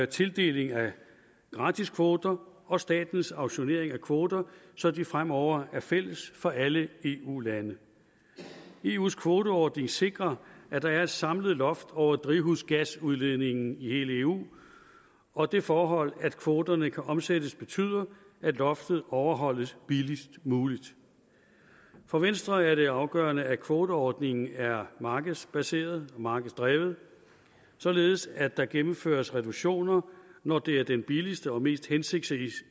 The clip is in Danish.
tildeling af gratiskvoter og for statens auktionering af kvoter så de fremover er fælles for alle eu lande eus kvoteordning sikrer at der er et samlet loft over drivhusgasudledningen i hele eu og det forhold at kvoterne kan omsættes betyder at loftet overholdes billigst muligt for venstre er det afgørende at kvoteordningen er markedsbaseret og markedsdrevet således at der gennemføres reduktioner når det er den billigste og mest hensigtsmæssige